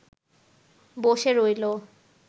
বসে রইল